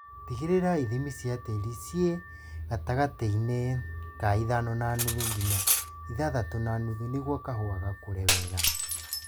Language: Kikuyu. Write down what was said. Tigĩrĩra ithimi cia tĩri ciĩ gatagatĩinĩ ka ithano na nuthu nginya ithathatũ na nuthu nĩguo kahũa gakũre wega